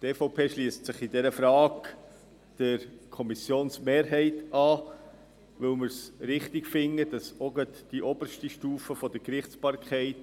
Die EVP schliesst sich in dieser Frage der Kommissionsmehrheit an, weil wir es als richtig erachten, dass gerade auch die oberste Stufe der Gerichtsbarkeit